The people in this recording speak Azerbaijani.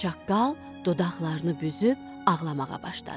Çaqqal dodaqlarını büzüb ağlamağa başladı.